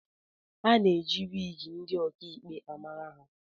A na-eji wigi ndị ọkaikpe amara ha